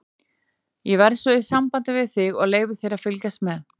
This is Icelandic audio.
Ég verð svo í sambandi við þig og leyfi þér að fylgjast með.